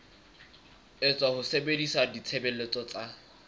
etswa ho sebedisa ditshebeletso tsa